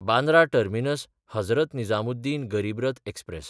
बांद्रा टर्मिनस–हजरत निजामुद्दीन गरीब रथ एक्सप्रॅस